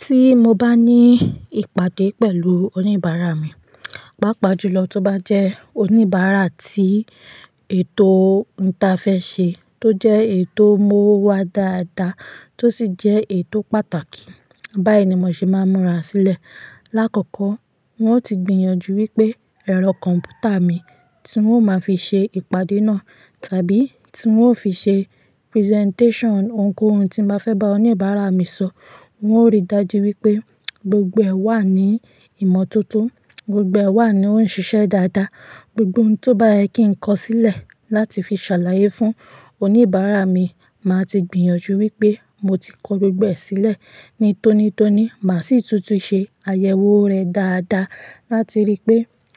Tí mo bá ní ìpàdé pẹ̀lú oníbàárà mi, pàápàá jùlọ tó bá jẹ́ oníbàárà tí ètò n ta fẹ́ ṣe tó jẹ́ èyi tò mú owo wá dáadáa tó sì jẹ́ eyi to pàtàkì, báyìí ni mo ṣe máa ń múra sílẹ̀. Lákọ́kọ́ n ò ti gbìyànjú wípé ẹ̀rọ kọ̀m̀pútà mi tí n ó máa fi ṣe ìpàdé náà tàbí tí n ó fi ṣe presentation ohunkóhun tí n ba fẹ́ bá oníbàárà mi sọ, n ó rí i dájú wípé gbogbo ẹ̀ wà ní ìmọ́tótó, gbogbo ẹ̀ wà ní òun n ṣiṣẹ́ dáadáa, gbogbo ohun tó bá yẹ kí ń kọ sílẹ̀ láti fi ṣàlàyé fún oníbàárà mi, màá ti gbìyànjú wípé mo ti kọ gbogbo ẹ̀ sílẹ̀ ní tónítóní, màá sì tún ti ṣe àyẹ̀wò rẹ̀ dáadáa láti rí i pé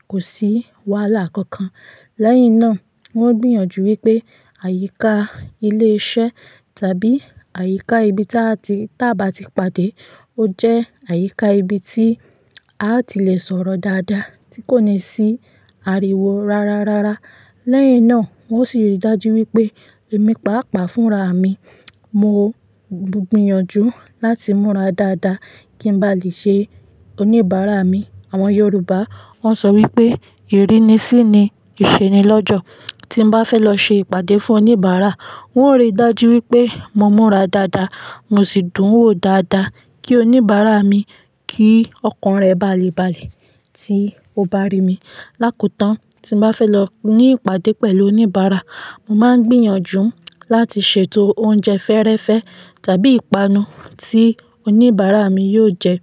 kò sí wàhálà kankan. Lẹ́yìn náà, n o gbìyànjú wípé àyíká ilé iṣẹ́ tàbí àyíká ibi táa ti- táa bá ti pàdé, ó jẹ́ àyíká ibi tí a ti lè sọ̀rọ̀ dáadáa tí kò ní sí ariwo rárárárá. Lẹ́yìn náà, n o sì rí i dájú wípé èmi pàápàá fúnra mi, mo gbìyànjú láti múra dáadáa kí n bá lè ṣe oníbàárà mi. Àwọn Yorùbá wọn sọ wípé, "Iri ni sí ni ìṣeni lọ́jọ́." Tí n bá fẹ́ lọ ṣe ìpàdé fún oníbàárà, n ó rí i dájú wípé mo múra dáadáa, mo sì dún wo dáadáa kí oníbàárà mi kí ọkàn rẹ̀ ba a le bale tí ó bá rí mi. Lákotán, tí n bá fẹ́ lọ ní ìpàdé pẹ̀lú oníbàárà, mo máa ń gbìyànjú láti ṣètò oúnjẹ fẹ́rẹ́fẹ́ tàbí ìpanu tí oníbàárà mi yóò jẹ.